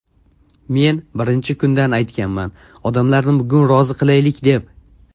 Men birinchi kundan aytganman odamlarni bugun rozi qilaylik deb.